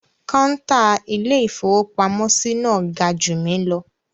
Kọ́ńtà Ilé-ìfowópamọ́sí náà ga jù mí lọ.